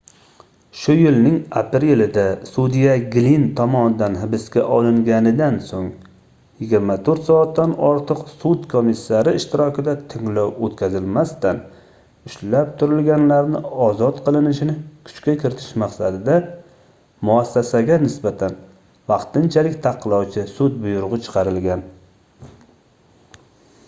shu yilning aprelida sudya glinn tomonidan hibsga olinganidan soʻng 24 soatdan ortiq sud komissari ishtirokida tinglov oʻtkazilmasdan ushlab turilganlarni ozod qilinishini kuchga kiritish maqsadida muassasaga nisbatan vaqtinchalik taqiqlovchi sud buyrugʻi chiqarilgan